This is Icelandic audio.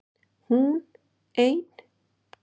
HÚN EIN